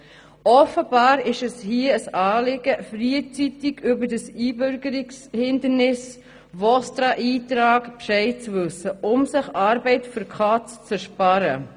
Offenbar ist es hier ein Anliegen, frühzeitig über das Einbürgerungshindernis VOSTRA-Eintrag Bescheid zu wissen, um sich Arbeit für die Katz zu ersparen.